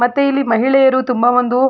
ಮತ್ತೆ ಇಲ್ಲಿ ಮಹಿಳೆಯರು ತುಂಬಾ ಒಂದು --